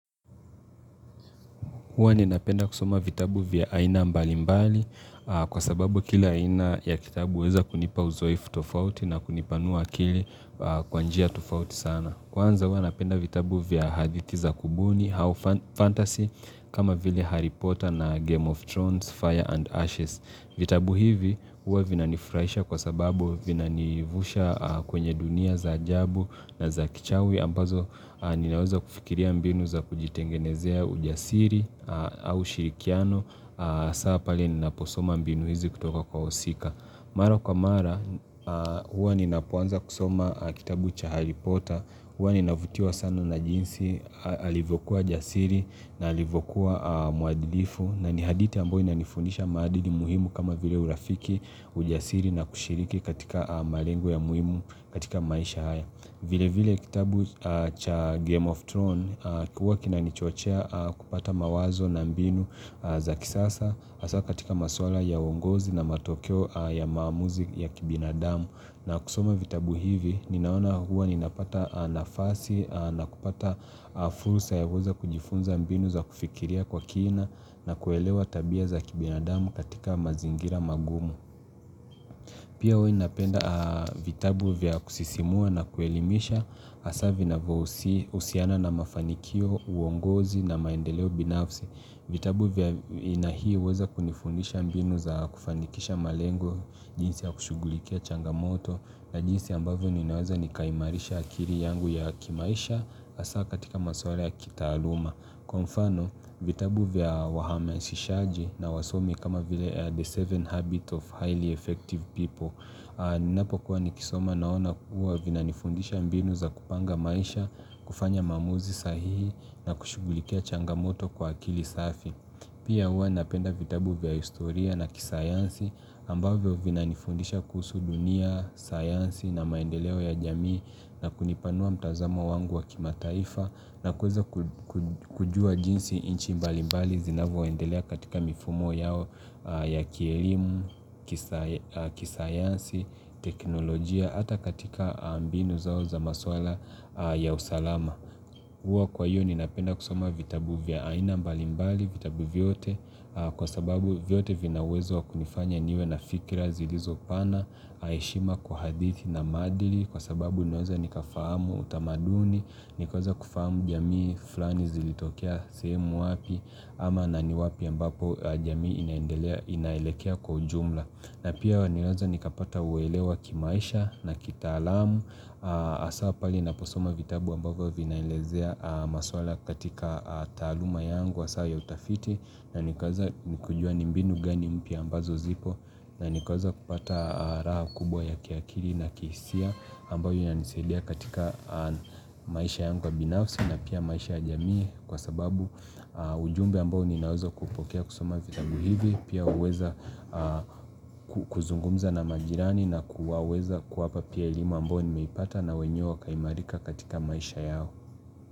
Huwa ninapenda kusoma vitabu vya aina mbali mbali kwa sababu kila aina ya kitabu huweza kunipa uzoefu tofauti na kunipanua akili kwa njia tofauti sana. Kwanza huwa napenda vitabu vya hadithi za kubuni, how fantasy, kama vile Harry Potter na Game of Thrones, Fire and Ashes. Vitabu hivi huwa vinanifurahisha kwa sababu vinanivusha kwenye dunia za ajabu na za kichawi ambazo ninaweza kufikiria mbinu za kujitengenezea ujasiri au shirikiano hasa pale ninaposoma mbinu hizi kutoka kwa wahusika. Mara kwa mara, huwa ninapoanza kusoma kitabu cha Harry Potter, huwa ninavutiwa sanu na jinsi, alivyokuwa jasiri na alivyokuwa muadilifu na ni hadithi ambayo inanifundisha maadili muhimu kama vile urafiki, ujasiri na kushiriki katika malengo ya muhimu katika maisha haya. Vile vile kitabu cha Game of Thrones huwa kinanichochea kupata mawazo na mbinu za kisasa hasa katika maswala ya uongozi na matokeo ya maamuzi ya kibinadamu. Na kusoma vitabu hivi ninaona huwa ninapata nafasi na kupata fursa ya kuweza kujifunza mbinu za kufikiria kwa kina na kuelewa tabia za kibinadamu katika mazingira magumu Pia huwa napenda vitabu vya kusisimua na kuelimisha hasa vinavyohusiana na mafanikio, uongozi na maendeleo binafsi. Vitabu vya haina hii uweza kunifundisha mbinu za kufanikisha malengo jinsi ya kushughulikia changamoto na jinsi ambavyo ninaweza nikaimarisha akili yangu ya kimaisha hasa katika maswala ya kitaaluma. Kwa mfano vitabu vya wahamazishaji na wasomi kama vile the seven habits of highly effective people Ninapokuwa nikisoma naona kuwa vinanifundisha mbinu za kupanga maisha, kufanya maamuzi sahihi na kushughulikia changamoto kwa akili safi Pia huwa napenda vitabu vya historia na kisayansi ambavyo vinanifundisha kuhusu dunia, sayansi na maendeleo ya jamii na kunipanua mtazamo wangu wa kimataifa na kuweza kujua jinsi nchi mbalimbali zinavoendelea katika mifumo yao ya kielimu, kisayansi, teknolojia, hata katika mbinu zao za maswala ya usalama huwa kwa hiyo ninapenda kusoma vitabu vya aina mbalimbali vitabu vyote kwa sababu vyote vina uwezo wakunifanya niwe na fikra zilizopana heshima kwa hadithi na maadili Kwa sababu ninaweza nikafahamu utamaduni. Nikaweza kufahamu jamii fulani zilitokea sehemu wapi ama na ni wapi ambapo jamii inaelekea kwa ujumla. Na pia niweze nikapata uelewa kimaisha na kitaalamu hasa pale naposoma vitabu ambavyo vinaelezea maswala katika taaluma yangu hasa ya utafiti na nikaweza nikujua ni mbinu gani mpya ambazo zipo na nikaweza kupata raha kubwa ya kiakili na kihisia ambayo inanisaidia katika maisha yangu ya binafsi na pia maisha ya jamii Kwa sababu ujumbe ambao ninaweza kupokea kusoma vitabu hivi Pia uweza kuzungumza na majirani na kuwaweza kuwapa pia elimu ambayo nimeipata na wenyewe wakaimarika katika maisha yao.